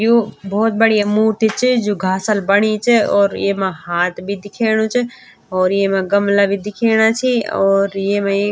यु बहौत बढ़िया मूर्ति च जू घासल बणी च और येमा हाथ भी दिखेणु च और येमा गमला भी दिखेणा छि और येमा ये --